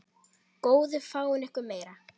Góðu fáið ykkur meira.